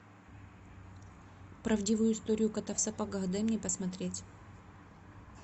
правдивую историю кота в сапогах дай мне посмотреть